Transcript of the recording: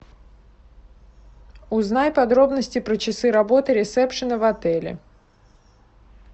узнай подробности про часы работы ресепшена в отеле